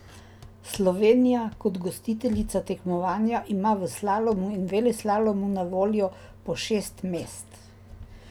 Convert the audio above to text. Slovenija kot gostiteljica tekmovanja ima v slalomu in veleslalomu na voljo po šest mest.